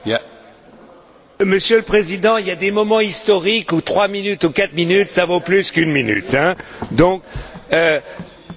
Monsieur le Président, il y a des moments historiques où trois minutes ou quatre minutes, cela vaut plus qu'une minute, non?